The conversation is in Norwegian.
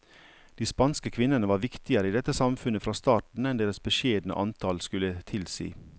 De spanske kvinnene var viktigere i dette samfunnet fra starten enn deres beskjedne antall skulle tilsi.